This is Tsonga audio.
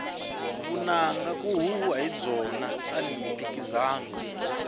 vunanga ku huhwiwa hi byona tani hi mphikizano